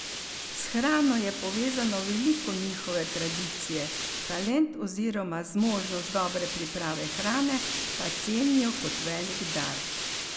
S hrano je povezano veliko njihove tradicije, talent oziroma zmožnost dobre priprave hrane pa cenijo kot velik dar.